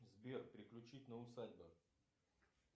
сбер переключить на усадьбы